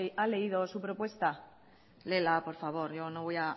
ha leído su propuesta léela por favor yo no voy